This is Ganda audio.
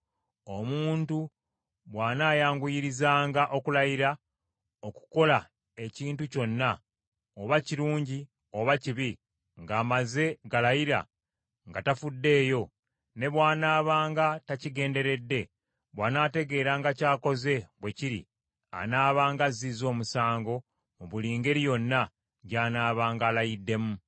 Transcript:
Omuntu bw’anaayanguyirizanga okulayira okukola ekintu kyonna, oba kirungi oba kibi, ng’amaze galayira nga tafuddeeyo, ne bw’anaabanga takigenderedde, bw’anaategeranga ky’akoze bwe kiri, anaabanga azzizza omusango mu buli ngeri yonna gy’anaabanga alayiddemu.